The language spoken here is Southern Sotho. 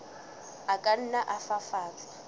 a ka nna a fafatswa